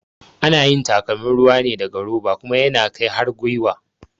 Ana yin takalmin ruwa ne daga roba kuma yana kai har gyiwa